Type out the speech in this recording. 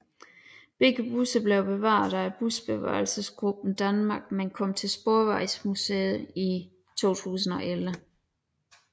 Begge busser blev bevaret af Busbevarelsesgruppen Danmark men kom til Sporvejsmuseet i 2011